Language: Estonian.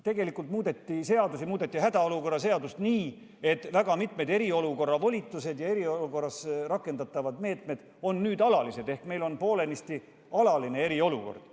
Tegelikult muudeti seadusi, hädaolukorra seadust muudeti nii, et mitmed eriolukorras antavad volitused ja rakendatavad meetmed on nüüd alalised, ehk meil on poolenisti alaline eriolukord.